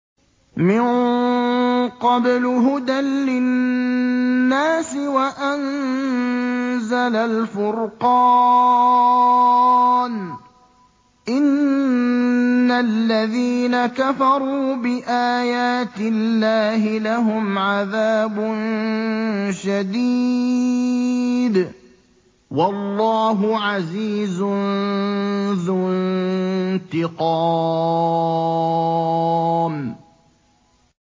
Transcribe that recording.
مِن قَبْلُ هُدًى لِّلنَّاسِ وَأَنزَلَ الْفُرْقَانَ ۗ إِنَّ الَّذِينَ كَفَرُوا بِآيَاتِ اللَّهِ لَهُمْ عَذَابٌ شَدِيدٌ ۗ وَاللَّهُ عَزِيزٌ ذُو انتِقَامٍ